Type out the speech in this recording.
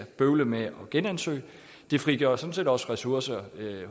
bøvle med at genansøge det frigør sådan set også ressourcer i